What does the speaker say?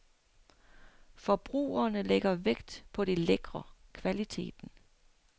Forbrugerne lægger vægt på det lækre, kvaliteten.